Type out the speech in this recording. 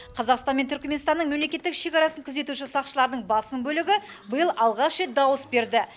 қазақстан мен түрікменстанның мемлекеттік шекарасын күзетуші сақшылардың басым бөлігі биыл алғаш рет дауыс берді